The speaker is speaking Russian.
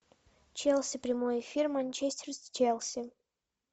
челси прямой эфир манчестер с челси